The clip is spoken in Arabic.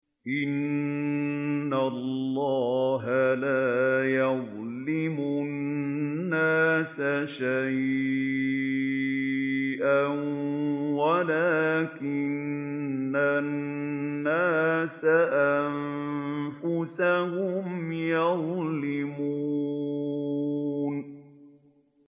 إِنَّ اللَّهَ لَا يَظْلِمُ النَّاسَ شَيْئًا وَلَٰكِنَّ النَّاسَ أَنفُسَهُمْ يَظْلِمُونَ